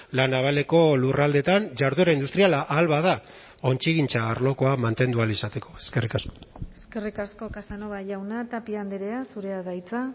la navaleko lurraldeetan jarduera industriala ahal bada ontzigintza arlokoa mantendu ahal izateko eskerrik asko eskerrik asko casanova jauna tapia andrea zurea da hitza